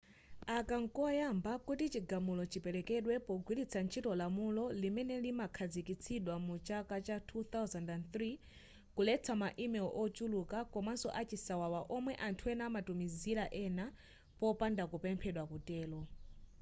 aka nkoyamba kuti chigamulo chipelekedwe pogwiritsa lamulo limene linakhazikitsidwa mu chaka cha 2003 kuletsa ma email ochuluka komanso a chisawawa omwe anthu ena amatumizila ena popanda kupemphedwa kutelo